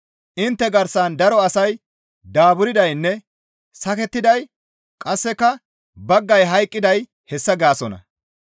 Intte garsan daro asay daaburdaynne sakettiday qasseka baggay hayqqiday hessa gaasonna.